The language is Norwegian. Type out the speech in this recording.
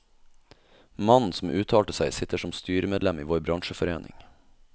Mannen som uttalte seg, sitter som styremedlem i vår bransjeforening.